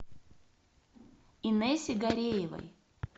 инессе гареевой